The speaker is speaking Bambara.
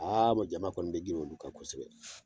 Aa mɛ jama kɔni be girin olu kan kosɛbɛ